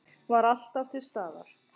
Var alltaf til staðar.